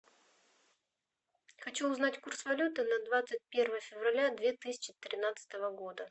хочу узнать курс валюты на двадцать первое февраля две тысячи тринадцатого года